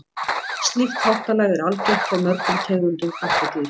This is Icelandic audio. slíkt háttalag er algengt hjá mörgum tegundum kattardýra